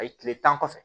A ye kile tan kɔfɛ